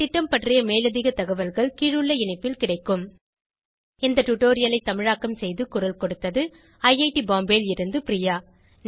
இந்த திட்டம் பற்றி மேலதிக தகவல்கள் கீழுள்ள இணைப்பில் கிடைக்கும் இந்த டுடோரியலை தமிழாக்கம் செய்து குரல் கொடுத்தது ஐஐடி பாம்பேவில் இருந்து பிரியா